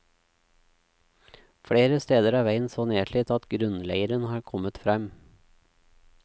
Flere steder er veien så nedslitt at grunnleiren har kommet frem.